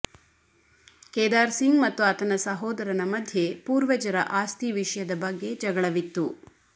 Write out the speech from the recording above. ಕೇದಾರ್ ಸಿಂಗ್ ಮತ್ತು ಆತನ ಸಹೋದರನ ಮಧ್ಯೆ ಪೂರ್ವಜರ ಆಸ್ತಿ ವಿಷಯದ ಬಗ್ಗೆ ಜಗಳವಿತ್ತು